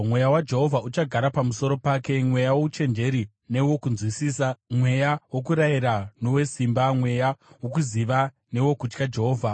Mweya waJehovha uchagara pamusoro pake, mweya wouchenjeri newokunzwisisa, mweya wokurayira nowesimba, mweya wokuziva newokutya Jehovha,